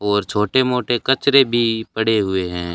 और छोटे मोटे कचरे भी पड़े हुए हैं।